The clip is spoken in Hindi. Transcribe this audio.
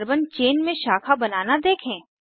कार्बन चेन में शाखा बनना देखें